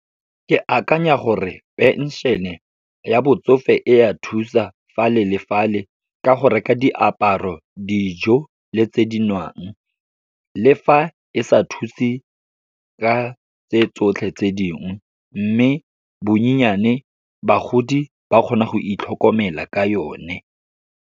Ke akanya gore phenšene e ya botsofe e ya thusa fale le fale, ka go reka diaparo, dijo le tse di nwang. Le fa e sa thuse ka tse tsotlhe tse dingwe, mme bonyenyane, bagodi ba kgona go itlhokomela ka yone.